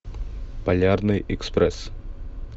полярный экспресс